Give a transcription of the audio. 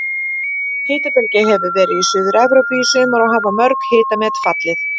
Hitabylgja hefur verið í Suður-Evrópu í sumar og hafa mörg hitamet fallið.